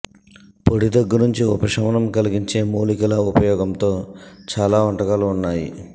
పొడి దగ్గు నుంచి ఉపశమనం కలిగించే మూలికల ఉపయోగంతో చాలా వంటకాలు ఉన్నాయి